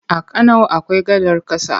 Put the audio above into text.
A Kano akwai gadar ƙasa.